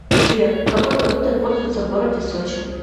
сбер какой валютой пользуются в городе сочи